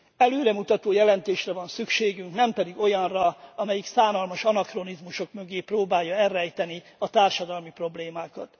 Előremutató jelentésre van szükségünk, nem pedig olyanra, amelyik szánalmas anakronizmusok mögé próbálja elrejteni a társadalmi problémákat.